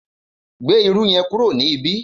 Gbé irú yẹn kúrò ní ibi!